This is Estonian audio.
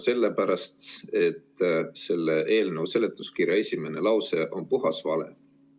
Esiteks sellepärast, et selle eelnõu seletuskirja esimene lause on puhas vale.